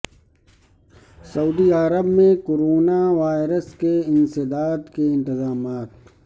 سعودی عرب میں corona virus کے انسداد کے انتظامات